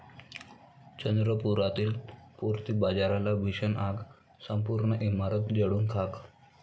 चंद्रपुरातील पूर्ती बाजारला भीषण आग, संपूर्ण इमारत जळून खाक